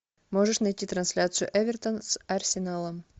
можешь найти трансляцию эвертон с арсеналом